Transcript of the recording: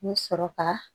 N bɛ sɔrɔ ka